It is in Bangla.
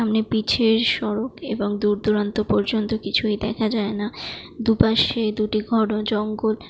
সামনে পিছে সড়ক এবং দূর দূরান্ত পর্যন্ত কিছুই দেখা যাই না দু পাশে দুটি ঘন জঙ্গল।